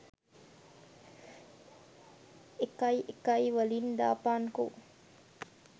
එකයිඑකයිවලින් දාපන්කෝ